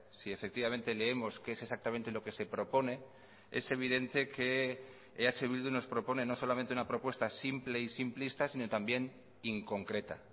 si efectivamente leemos qué es exactamente lo que se propone es evidente que eh bildu nos propone no solamente una propuesta simple y simplista sino también inconcreta